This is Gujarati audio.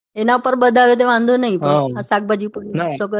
એના ઉપરત વધારે તો વાંધો નઈ પણ આ શાકભજી ઉપર નથી કર્યો એ સારું છે.